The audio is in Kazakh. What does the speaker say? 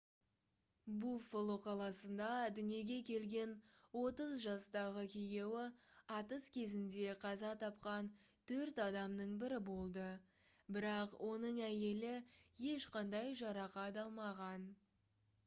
буффало қаласында дүниеге келген 30 жастағы күйеуі атыс кезінде қаза тапқан төрт адамның бірі болды бірақ оның әйелі ешқандай жарақат алмаған